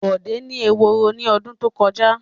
Bọ̀dé ni eworo ní ọdún tó kọjá.